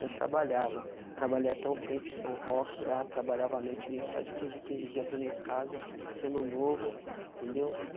Eu trabalhava, trabalhei até um tempo, são rock lá, trabalhava a noite, vinha só de quinze em quinze dia para minha casa, sendo novo, entendeu?